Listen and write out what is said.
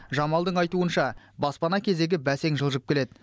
жамалдың айтуынша баспана кезегі бәсең жылжып келеді